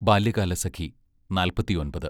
ബാല്യകാലസഖി നാൽപ്പത്തിയൊൻപത്